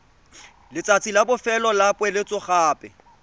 letsatsi la bofelo la poeletsogape